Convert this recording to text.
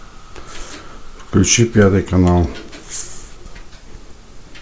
включи пятый канал